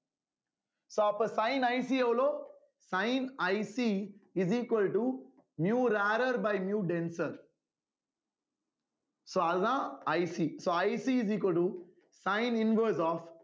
so அப்ப sineIC எவ்வளோ sineICis equal to miu rarer by miu denser so அதுதான் ICsoICis equal to sine inverse of